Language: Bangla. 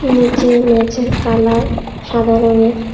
নিচে মেঝের কালার সাদা রঙের।